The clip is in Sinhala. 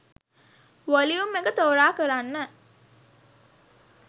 වොලියුම් එක තෝරා කරන්න.